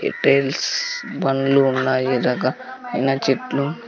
ఇపేల్స్ బండ్లు ఉన్నాయి రక మైన చెట్లు.